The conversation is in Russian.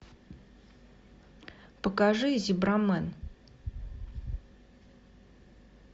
покажи зебрамен